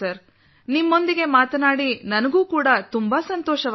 ನಿಮ್ಮೊಂದಿಗೆ ಮಾತನಾಡಿ ನನಗೂ ತುಂಬಾ ಸಂತೋಷವಾಯಿತು